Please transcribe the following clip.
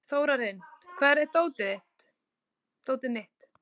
Þórarinn, hvar er dótið mitt?